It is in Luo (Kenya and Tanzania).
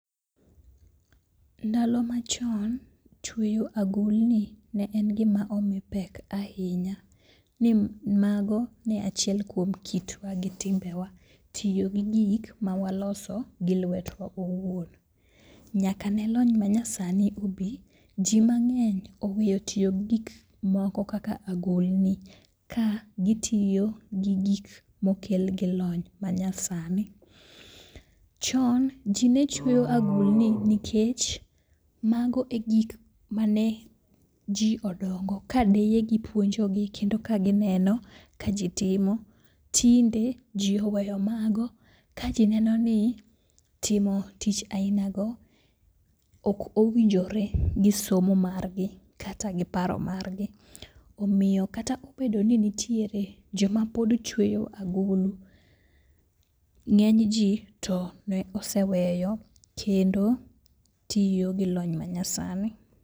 Ndalo machon, chweyo agulni ne en gima omi pek ahinya ni mago ne achiel kuom kitwa gi timbewa, tiyo gi gik mawaloso gi lwetwa owuon. Nyaka ne lony manyasni obi, ji mang'eny oweyo tiyo gikmoko kaka agulni ka gitiyo gi gik mokel gi lony manyasani. Chon ji ne cheyo agulni nikech mago e gik mane ji odongo kadeyegi puonjogi kendo kagineno ka ji timo. Tinde ji oweyo mago kaji neno ni timo tich ainago ok owinjore gi somo margi kata gi paro maggi. Omiyo kata obedo ni nitiere joma pod chweyo agulu, ng'enyji to noseweyo kendo tiyo gi lony manyasani.